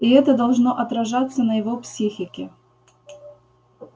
и это должно отражаться на его психике